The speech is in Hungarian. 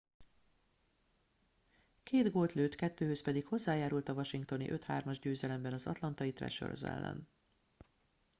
két gólt lőtt kettőhöz pedig hozzájárult a washingtoni 5-3-as győzelemben az atlantai thrashers ellen